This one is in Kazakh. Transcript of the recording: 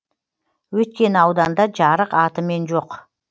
өйткені ауданда жарық атымен жоқ